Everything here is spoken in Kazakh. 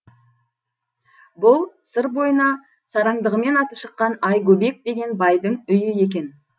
бұл сыр бойына сараңдығымен аты шыққан айгөбек деген байдың үйі екен